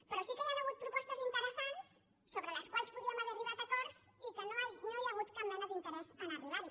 però sí que hi han hagut propostes interessants so·bre les quals podíem haver arribat a acords i no hi ha hagut cap mena d’interès a arribar·hi